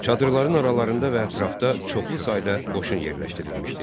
Çadırların aralarında və ətrafda çoxlu sayda qoşun yerləşdirilmişdi.